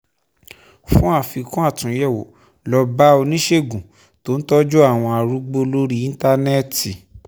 fún àfikún àtúnyẹ̀wò lọ bá oníṣègùn tó ń tọ́jú àwọn arúgbó lórí íńtánẹ́ẹ̀tì